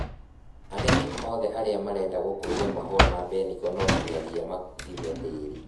Arĩmi othe arĩa mareda gũkũria Mahũa ma mbeniko nonginyagia mathime tĩri.